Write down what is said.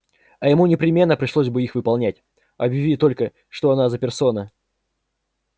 а ему непременно пришлось бы их выполнять объяви только что он за персона